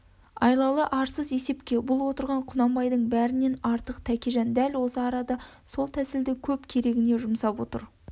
айлалы арсыз есепке бұл отырған құнанбайдың бәрінен артық тәкежан дәл осы арада сол тәсілді көп керегіне жұмсап отыр